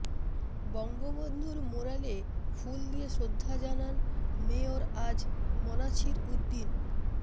বঙ্গবন্ধুর ম্যুরালে ফুল দিয়ে শ্রদ্ধা জানান মেয়র আ জ ম নাছির উদ্দীন